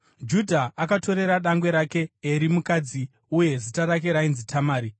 Judha akatorera dangwe rake Eri mukadzi, uye zita rake ainzi Tamari.